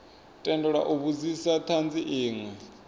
tendelwa u vhudzisa thanzi inwe